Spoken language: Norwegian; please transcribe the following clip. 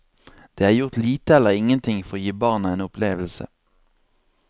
Det er gjort lite eller ingenting for å gi barna en opplevelse.